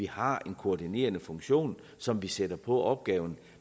har en koordinerende funktion som de sætter på opgaven